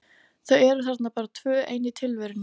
Þau eru þarna bara tvö ein í tilverunni.